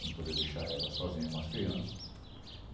Não poder deixar ela sozinha com as crianças.